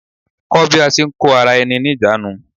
Kó bí a ṣe ń kó ara-ẹni-níjàánu.